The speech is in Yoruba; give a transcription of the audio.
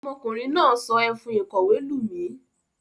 Ọmọkùnrin náà sọ ẹfun ìkọ̀wé lù mí.